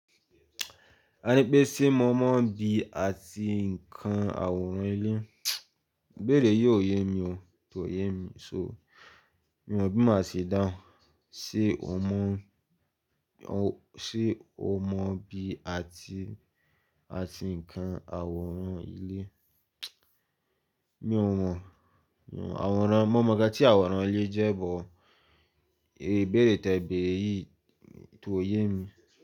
Ẹní pé ṣé mo mọ̀ bí àti nǹkan àwòrán ilé? Ibere yìí ò yé mi o, kò yé mi. So mi ò mọ̀ bí màá ṣe dáhùn. Ṣé o mọ̀, ṣe o mọ̀ bí àti, àti nǹkan àwòrán ilé? Mi ò mọ̀, mi ò mọ̀. Àwòrán, mo mọ̀ nnkán tí àwòrán ilé jẹ́, bọ̀ ìbéèrè tẹ̀ beere yìí tò yé mi.